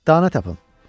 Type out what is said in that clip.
Dana tapın.